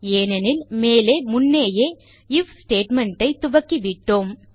ஏனெனில் மேலே முன்னேயே ஐஎஃப் ஸ்டேட்மெண்ட் ஐ துவக்கிவிட்டோம்